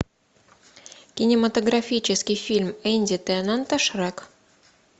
кинематографический фильм энди теннанта шрек